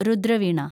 Rudra Veena